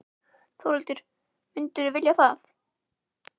Þórhildur: Myndirðu vilja það?